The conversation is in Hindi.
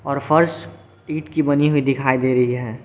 और फर्श ईट की बनी हुई दिखाई दे रही है।